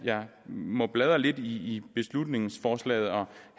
må bladre lidt i beslutningsforslaget og